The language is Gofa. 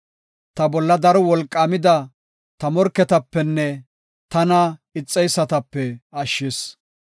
Ta bolla daro wolqaamida ta morketapenne tana ixeysatape ashshis.